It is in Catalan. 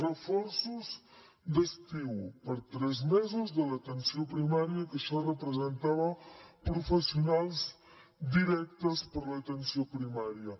reforços d’estiu per a tres mesos de l’atenció primària que això representava professionals directes per a l’atenció primària